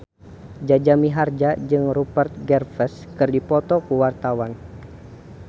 Jaja Mihardja jeung Rupert Graves keur dipoto ku wartawan